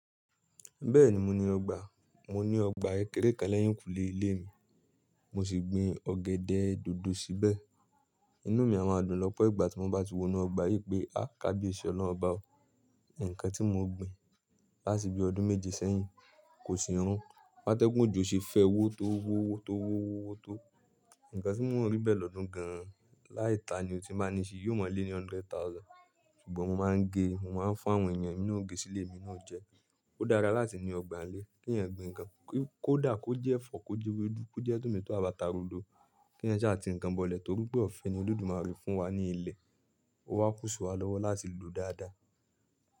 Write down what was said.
Bẹ́ẹ̀ni mo ní ọgbà, mo ní ọgbà kekẹrẹ́ kan lẹ́yìn kùlé ilé mi, mo sì gbìn ọ̀gẹ̀dẹ̀ dòdò síbẹ̀. Inú mi a máa dùn lọ́pọ̀ ìgbà tí mo bá ti wo inú ọgbà yí pé, áà kábíyèsí Ọlọ́run ọba ò, ǹkan tí mo gbìn láti bi ọdún méje sẹ́yìn kò sì rún. Bi ateẹ́gún òjò ṣe fẹ́ wó tó wó, owó tó wó, owó tó. Ǹkan tí mò ń rí bẹ́ẹ̀ lọ́dún gan an, láì ta ni ò ti n báa ní i ṣe, yóò máa lé ní hundred thousand. Ṣùgbọ́n mo máa ń gẹ, mo máa ń fún àwọn èèyàn emi na ò ge sílé mi emi na o jẹ. Ó dára láti ní ọgbàńlé, kí èèyàn gbin ǹkan, kó dà, kó jẹ́ ẹ̀fọ́, kó jẹ́ ewédú, kó jẹ́ tòmátò àbáta rodo. Kí èèyàn sà ti ń kan bọ̀lẹ̀ torí pé ọ̀fẹ́ ni Olódùmarè fún wa ní ilẹ̀, ó wá kúsi wa lọ́wọ́ láti lòó dáadáa.